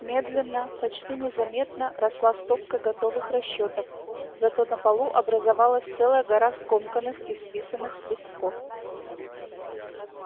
медленно почти незаметно росла стопка готовых расчётов зато на полу образовалась целая гора скомканных исписанных листков